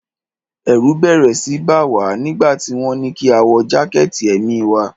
Ẹ̀rù bẹ́rẹ́ síi bá wa nígbà tí wọ́n ní kí a wọ jákẹ̀tì èmi wa.